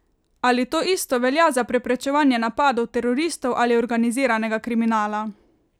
Ali to isto velja za preprečevanje napadov teroristov ali organiziranega kriminala?